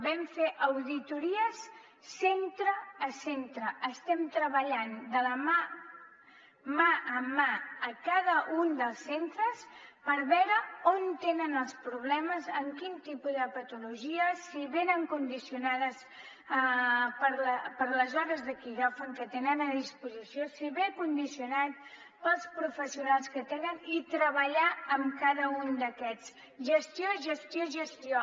vam fer auditories centre a centre estem treballant de la mà amb cada un dels centres per veure on tenen els problemes en quin tipus de patologies si venen condicionades per les hores de quiròfan que tenen a disposició si ve condicionat pels professionals que tenen i treballar amb cada un d’aquests gestió gestió i gestió